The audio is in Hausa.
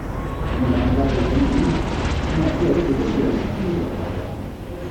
Yin wanka da ruwan dumi yana iya rage gajiyar jiki da kwakwalwa.